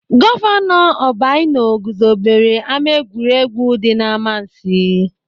Gọvanọ Obianọ guzobere ama egwuregwu dị n'Amansiị.